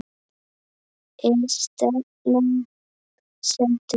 Er stefnan sett upp?